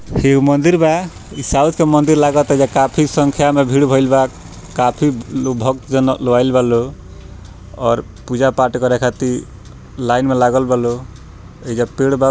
एगो मंदिर बा इ साउथ के मंदिर लागाता जे काफी संख्या में भीड़ भइल बा काफी भक्तजन लोग आइल बा लोग और पूजा पाठ करे खातिर लाइन में लागल बा लोग एजा पेड़ बा।